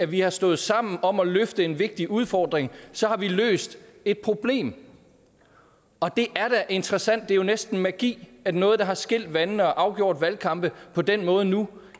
vi har stået sammen om at løfte en vigtig udfordring har løst et problem og det er da interessant for det er næsten magi at noget der har skilt vandene og afgjort valgkampe på den måde nu